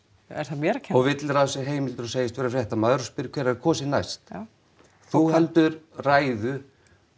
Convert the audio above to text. er það mér að kenna og villir á sér heimildum og segist vera fréttamaður og spyr hvenær kosið næst já þú heldur ræðu